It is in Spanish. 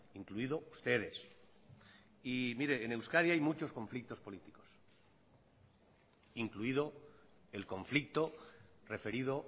incluido ustedes y mire en euskadi hay muchos conflictos políticos incluido el conflicto referido